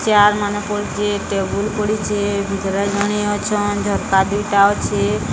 Chair ମାନ ପଡିଚି table ପଡିଚି ମାନେ ଅଛନ ଝରକା ଦିଟା ଅଛି।